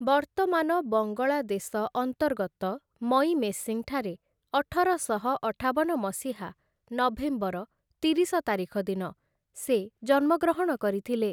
ବର୍ତ୍ତମାନ ବଙ୍ଗଳା ଦେଶ ଅନ୍ତର୍ଗତ ମଇମେସିଂଠାରେ ଅଠରଶହ ଅଠାବନ ମସିହା ନଭେମ୍ବର ତିରିଶ ତାରିଖ ଦିନ ସେ ଜନ୍ମଗ୍ରହଣ କରିଥିଲେ ।